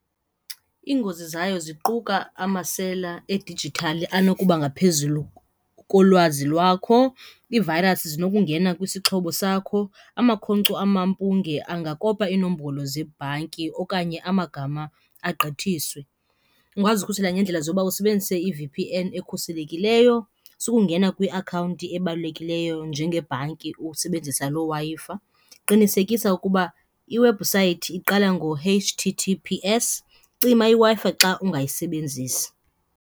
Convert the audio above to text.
Iingozi zayo ziquka amasela edijithali anokuba ngaphezulu kolwazi lwakho, iivayirasi zinokungenisa kwisixhobo sakho, amakhonkco amampunge angakopa iinombolo zebhanki okanye amagama agqithiswe. Ukungazikhusela ngeendlela zoba usebenzise i-V_P_N ekhuselekileyo, sukungena kwiakhawunti ebalulekileyo njengebhanki usebenzisa loo Wi-Fi, qinisekisa ukuba iwebhusayithi iqala ngo-H_T_T_P_S, cima iWi-Fi xa ungayisebenzisi.